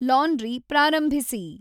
laundry ಪ್ರಾರಂಭಿಸಿ